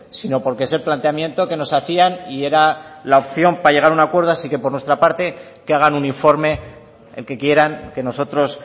sino porque es el planteamiento que nos hacían y era la opción para llegar a un acuerdo así que por nuestra parte que hagan un informe el que quieran que nosotros